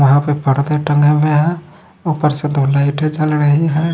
वहां पे पर्दे टंगे हुए हैं ऊपर से दो लाइटे जल रही है।